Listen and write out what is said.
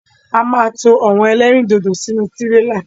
A máa to àwọn ẹlẹ́rìndòdò sínú tírélà.